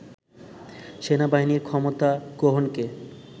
সেনাবাহিনীর ক্ষমতা গ্রহণকে